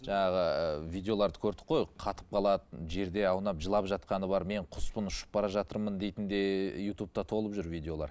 жаңағы видеоларды көрдік қой қатып қалады жерде аунап жылап жатқаны бар мен құспын ұшып бара жатырмын дейтін де ютубта толып жүр видеолар